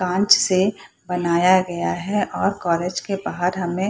कांच से बनाया गया है और कॉलेज के बाहर हमे --